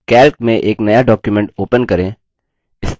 यह spoken tutorial project को सारांशित करता है